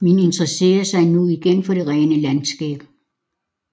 Man interesserede sig nu igen for det rene landskab